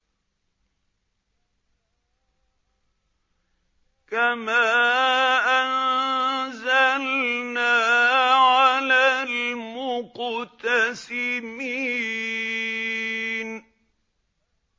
كَمَا أَنزَلْنَا عَلَى الْمُقْتَسِمِينَ